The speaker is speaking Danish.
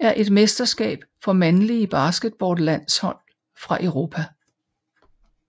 er et mesterskab for mandlige basketballlandshold fra Europa